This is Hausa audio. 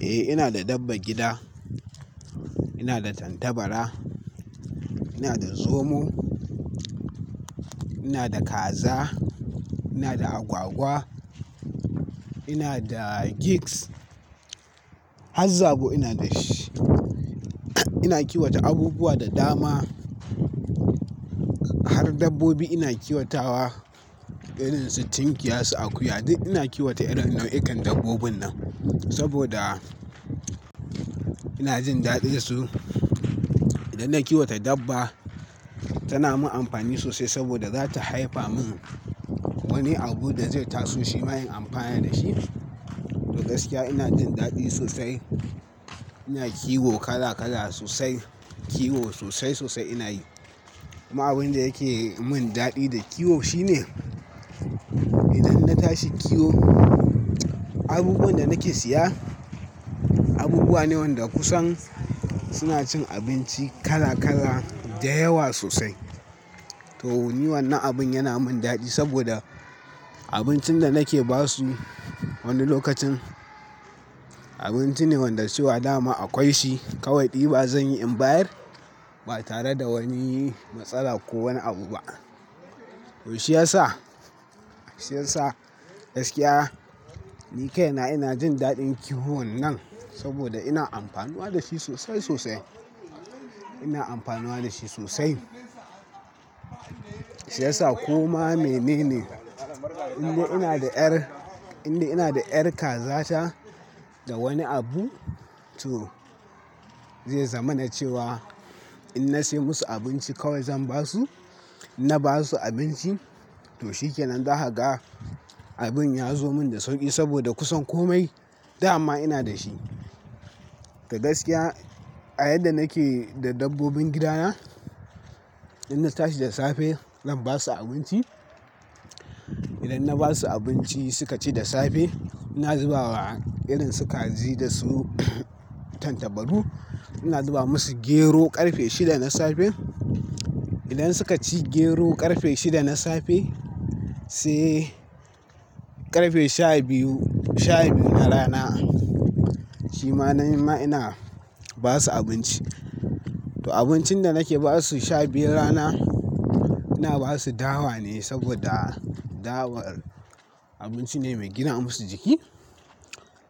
Eh, ina da dabbar gida. Ina da tantabara, ina da zomo, ina da kaza, ina da agwagwa, ina da gigs, haz zabo ina da shi. Ina kiwata abubuwa da dama. Har dabbobi ina kiwata irin su tinkiya su akuya. Ina kiwata nau'ikan dabbobin nan saboda ina jin daɗin su. Idan na kiwata dabba, tana yi min amfani sosai saboda za ta haifa min wani abu da zai taso shi ma in amfani da shi. To gaskiya, ina jin daɗi sosai. Ina kiwo kala kala sosai. Kiwo sosai, sosai ina yi. Amma abin da yake yi min daɗi da kiwo shi ne idan na tashi kiwo, abubuwan da nake siya, abubuwa ne wanda kusan suna cin abinci kala kala da yawa sosai. To, ni wannan abin yana min daɗi saboda abincin da nake ba su wani lokacin, abinci ne wanda cewa dama akwai shi. Kawai ɗiba zan yi inbayar ba tare da wani matsala ko wani abu ba. To shiyasa, shiyasa gaskiya, ni kai na ina jin daɗin kiwon nan saboda ina amfanuwa da shi sosai, sosai. Ina amfano da shi sosai. Shi ya sa komai mene ne, in dai ina da 'yar, in dai ina da 'yar kaza ta da wani abu, to zai zama na cewa in na sai musu abinci kawai zan ba su. In na ba su abinci, to shikenan. Zaka ga abin ya zo min da sauƙi saboda kusan kome dama ina da shi. To gaskiya, a yadda nake da dabbobin gidana, idan na tashi da safe zan ba su abinci. Idan na ba su abinci suka ci da safe, ina zuba wa irin su kaji da su tantabaru, ina zuba musu gero ƙarfe shida na safe. Idan suka ci gero ƙarfe shida na safe sai ƙarfe sha biyu, sha biyu na rana, shi ma na yi ma ina ba su abinci. To abincin da nake ba su sha biyun rana, ina ba su dawa ne saboda dawar abinci ne mai gina musu jiki.